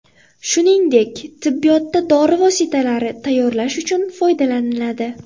Shuningdek, tibbiyotda dori vositalari tayyorlash uchun foydalaniladi.